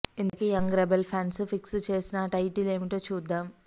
ఇంతకీ young rebel fans fix చేసిన ఆ టైటిల్ ఏమిటో చూద్దాం